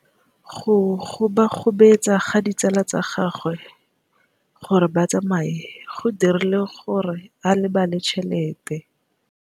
Go gobagobetsa ga ditsala tsa gagwe, gore ba tsamaye go dirile gore a lebale tšhelete.